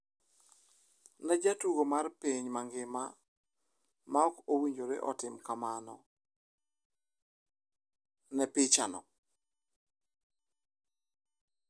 """Ne jatugo mar piny mangima ma ok owinjore otim kamano, ne pichano."